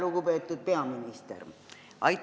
Lugupeetud peaminister!